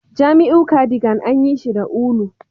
Jamiu cardigan an yi shi da ulu